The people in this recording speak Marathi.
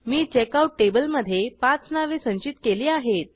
मी चेकआउट टेबलमधे पाच नावे संचित केली आहेत